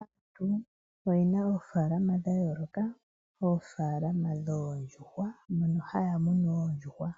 Aantu oyena oofaalama dha yooloka, oofaalama dhoondjuhwa, mono haya munu oondjuhwa.